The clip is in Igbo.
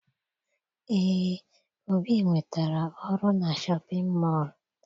Eé, Obi nwetara ọrụ na shọpịn mọọ